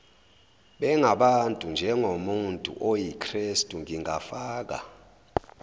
bengabantunjengomuntu oyikrestu ngingafaka